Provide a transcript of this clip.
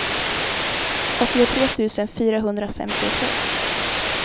åttiotre tusen fyrahundrafemtiotre